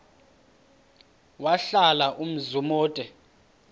wahlala umzum omde